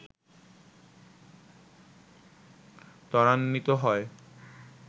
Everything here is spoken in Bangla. ত্বরান্বিত হয়